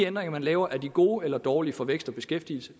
ændringer man laver gode eller dårlige for vækst og beskæftigelse